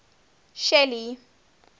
shelly